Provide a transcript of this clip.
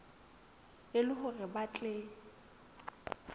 e le hore ba tle